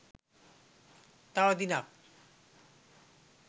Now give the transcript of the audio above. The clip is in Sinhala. තව දිනක්